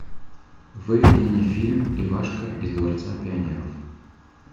выведи мне фильм ивашка из дворца пионеров